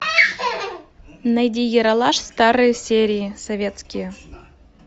найди ералаш старые серии советские